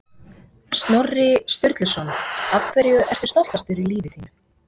Snorri Sturluson Af hverju ertu stoltastur í lífi þínu?